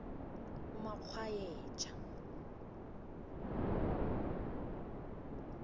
umakgwayeja